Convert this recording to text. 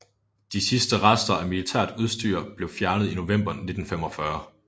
De sidste rester af militært udstyr blev fjernet i november 1945